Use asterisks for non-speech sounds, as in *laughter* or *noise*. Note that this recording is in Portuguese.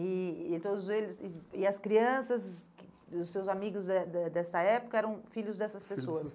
E e eh todos eles, e e as crianças, que os seus amigos eh de dessa época eram filhos dessas pessoas? *unintelligible*